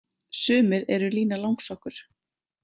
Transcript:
Sumir eru Lína langsokkur.